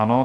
Ano.